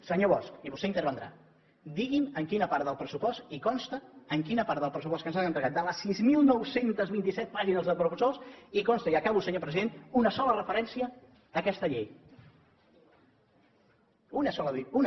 senyor bosch i vostè intervindrà digui’m en quina part del pressupost hi consta en quina part del pressupost que ens han entregat de les sis mil nou cents i vint set pàgines de pressupost hi consta i acabo senyor president una sola referència a aquesta llei una sola dic una